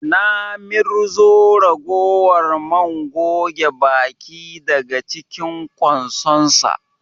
Na mirzo ragowar man goge baki daga cinkin ƙwansonsa